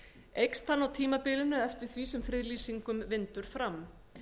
eykst hann á tímabilinu eftir því sem friðlýsingum vindur fram